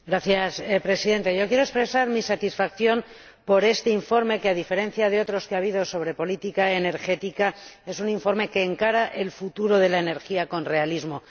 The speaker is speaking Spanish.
Señor Presidente, quiero expresar mi satisfacción por este informe que, a diferencia de otros que ha habido sobre política energética, es un informe que encara el futuro de la energía con realismo.